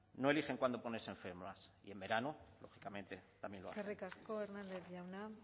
no eligen cuando ponerse enfermas y en verano lógicamente también lo hacen eskerrik asko hernández jauna